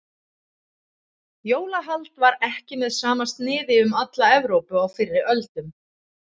Jólahald var ekki með sama sniði um alla Evrópu á fyrri öldum.